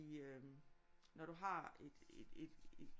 I øh når du har et